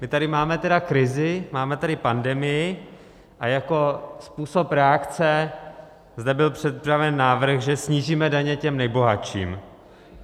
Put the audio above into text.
My tady máme tedy krizi, máme tady pandemii a jako způsob reakce zde byl představen návrh, že snížíme daně těm nejbohatším.